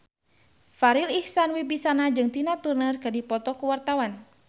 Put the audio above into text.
Farri Icksan Wibisana jeung Tina Turner keur dipoto ku wartawan